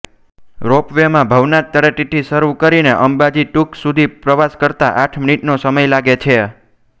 રોપવેમાં ભવનાથ તળેટીથી શરુ કરીને અંબાજી ટૂંક સુધી પ્રવાસ કરતા આઠ મિનિટનો સમય લાગે છે